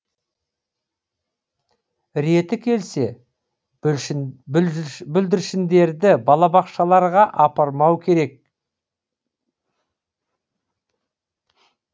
реті келсе бүлдіршіндерді балабақшаларға апармау керек